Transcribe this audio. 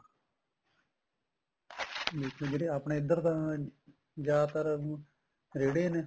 ਨਹੀਂ ਤਾਂ ਜਿਹੜੇ ਆਪਣੇ ਇੱਧਰ ਤਾਂ ਜਿਆਦਾ ਤਰ ਰੇੜੇ ਨੇ